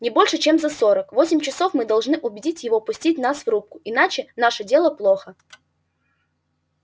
не больше чем за сорок восемь часов мы должны убедить его пустить нас в рубку иначе наше дело плохо